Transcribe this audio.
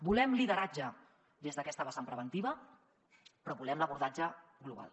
volem lideratge des d’aquesta vessant preventiva però volem l’abordatge global